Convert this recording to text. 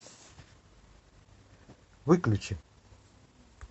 выключи